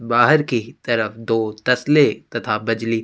बाहर की तरफ दो तसले तथा बजली --